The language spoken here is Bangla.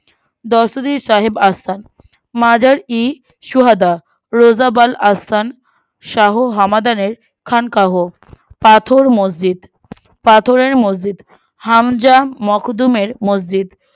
দস্তদীর সাহেব আসফান মাজার-ই-সোহাদা রোজাবাল আসফান শাহ হামাদানের খানকাহ পাথর ও মসজিদ পাথরের মসজিদ হামজাম মখদুমের মসজিদ